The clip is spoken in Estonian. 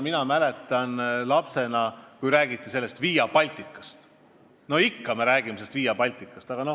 Ma mäletan, et kui ma laps olin, siis juba räägiti Via Balticast, ja me räägime sellest ikka veel.